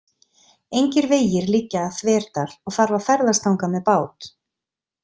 Engir vegir liggja að Þverdal og þarf að ferðast þangað með bát.